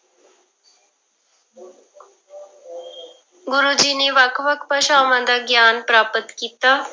ਗੁਰੂ ਜੀ ਨੇ ਵੱਖ ਵੱਖ ਭਾਸ਼ਾਵਾਂ ਦਾ ਗਿਆਨ ਪ੍ਰਾਪਤ ਕੀਤਾ।